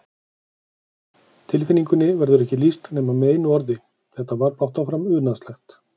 Tilfinningunni verður ekki lýst nema með einu orði, þetta var blátt áfram unaðslegt.